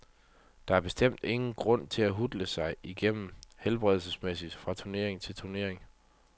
Der er bestemt ingen grund til at hutle sig igennem helbredsmæssigt fra turnering til turnering.